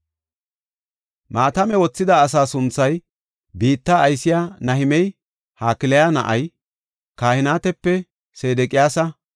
Maatame wothida asaa sunthay, biitta aysiya Nahimey, Hakaliya na7ay, Kahinetape, Sedeqiyaasa,